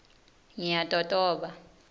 ngiyatotoba